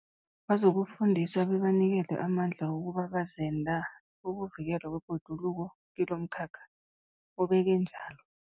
Bazokufundiswa bebanikelwe amandla wokuba bazenda bokuvikelwa kwebhoduluko kilomkhakha, ubeke watjho.